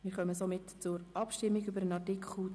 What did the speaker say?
Wir kommen zur Abstimmung über Artikel 72.